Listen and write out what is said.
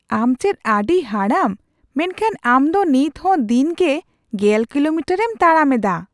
ᱟᱢ ᱪᱮᱫ ᱟᱹᱰᱤ ᱦᱟᱲᱟᱢ ᱢᱮᱱᱠᱷᱟᱱ ᱟᱢ ᱫᱚ ᱱᱤᱛᱦᱚᱸ ᱫᱤᱱᱜᱮ ᱑᱐ ᱠᱤᱞᱳᱢᱤᱴᱟᱨᱼᱮᱢ ᱛᱟᱲᱟᱢᱮᱫᱟ ᱾